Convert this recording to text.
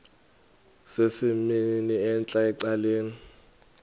sesimnini entla ecaleni